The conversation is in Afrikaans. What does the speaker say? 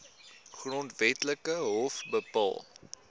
grondwetlike hof bepaal